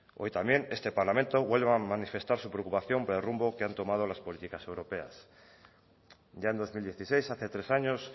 hoy también este parlamento vuelve a manifestar su preocupación por el rumbo que han tomado las políticas europeas ya en dos mil dieciséis hace tres años